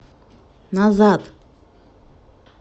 назад